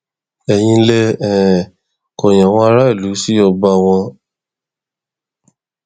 èyí lè um kọyìn àwọn aráàlú sí ọba wọn